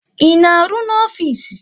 Ị na-arụ no ofisi?